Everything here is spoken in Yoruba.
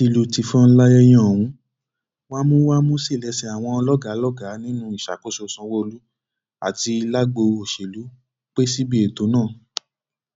tìlùtìfọn láyẹyẹ ohun wámúwámú sí lẹsẹ àwọn lọgàálọgàá nínú ìṣàkóso sanwóolu àti lágbo òṣèlú pẹ síbi ètò náà